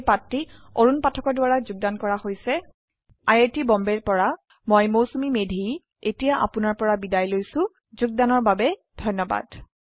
এই পাঠটি অৰুন পাঠকৰ দ্ৱাৰা যোগদান কৰা হৈছে আই আই টী বম্বে ৰ পৰা মই মৌচুমী মেধী এতিয়া আপুনাৰ পৰা বিদায় লৈছো যোগদানৰ বাবে ধন্যবাদ